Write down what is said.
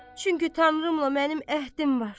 Çünki Tanrımla mənim əhdim var.